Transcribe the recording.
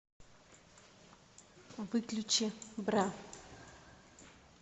выключи бра